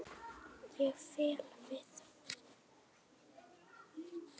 Ég fell við.